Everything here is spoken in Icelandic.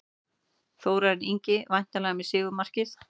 Þórarinn Ingi væntanlega með sigurmarkið.